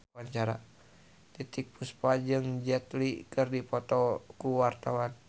Titiek Puspa jeung Jet Li keur dipoto ku wartawan